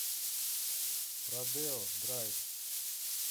родео драйв